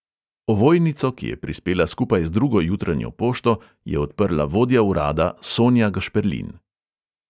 Ovojnico, ki je prispela skupaj z drugo jutranjo pošto, je odprla vodja urada sonja gašperlin.